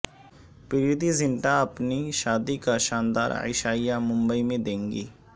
پریتی زنٹا اپنی شادی کا شاندار عشائیہ ممبئی میں دیں گی